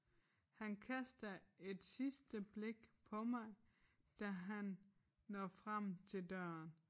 Han kaster et sidste blik på mig da han når frem til døren